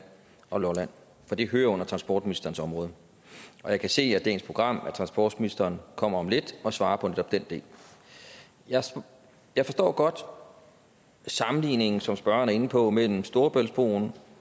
og lolland for det hører under transportministerens område og jeg kan se af dagens program at transportministeren kommer om lidt og svarer på netop den del jeg jeg forstår godt sammenligningen som spørgeren er inde på mellem storebæltsbroen